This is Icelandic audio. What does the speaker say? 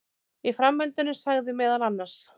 Í framhaldinu sagði meðal annars